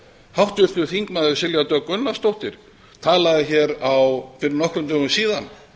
háttvirtur þingmaður silja dögg gunnarsdóttir talaði hér fyrir nokkrum dögum síðan